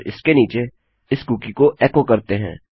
और इसके नीचे इस कुकी को एको करते हैं